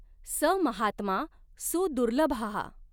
स महात्मा सुदुर्लभः.